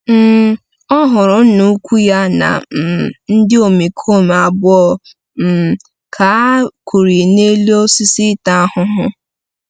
um Ọ hụrụ Nna-ukwu ya na um ndị omekome abụọ um ka a kụrie n’elu osisi ịta ahụhụ.